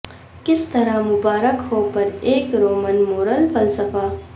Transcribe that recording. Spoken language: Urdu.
کس طرح مبارک ہو پر ایک رومن مورل فلسفہ